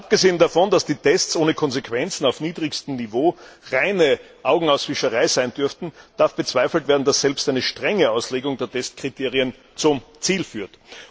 Abgesehen davon, dass die Tests ohne Konsequenzen auf niedrigstem Niveau reine Augenauswischerei sein dürften, darf bezweifelt werden, dass selbst eine strenge Auslegung der Testkriterien zum Ziel führt.